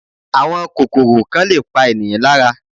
Àwọn kòkòrò kan lè pa ènìyàn lára